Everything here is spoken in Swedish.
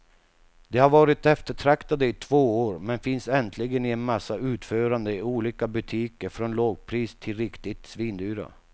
De har varit eftertraktade i två år, men finns äntligen i en massa utföranden i olika butiker från lågpris till riktigt svindyra.